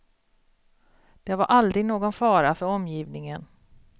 Det var aldrig någon fara för omgivningen.